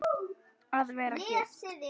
Að vera gift?